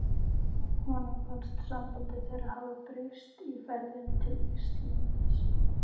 Honum fannst samband þeirra hafa breyst í ferðinni til Íslands.